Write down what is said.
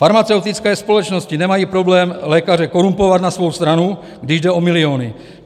Farmaceutické společnosti nemají problém lékaře korumpovat na svou stranu, když jde o miliony.